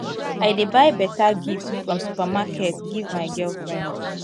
i dey buy beta gift from supermarket give my girlfriend